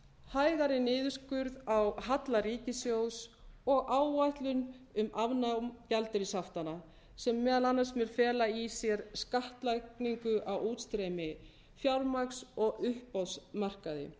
hægari niðurskurð á halla ríkissjóðs og áætlun um afnám gjaldeyrishaftanna sem meðal annars mun fela í sér skattlagningu á útstreymi fjármagns og uppboðsmarkaði